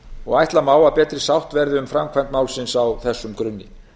og ætla má að betri sátt verði um framkvæmd málsins á þessum grunni